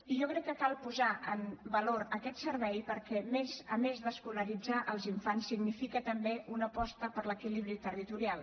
i jo crec que cal posar en valor aquest servei perquè a més d’escolaritzar els infants significa també una aposta per l’equilibri territorial